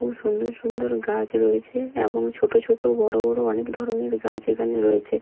খুব সুন্দর সুন্দর গাছ রয়েছে এবং ছোট ছোট বড় বড় অনেক ধরনের গাছ এখানে রয়েছে।